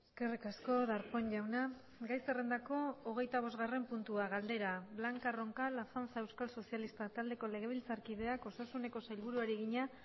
eskerrik asko darpón jauna gai zerrendako hogeitabosgarren puntua galdera blanca roncal azanza euskal sozialistak taldeko legebiltzarkideak osasuneko sailburuari egina